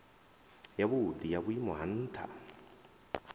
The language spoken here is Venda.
yavhudi ya vhuimo ha ntha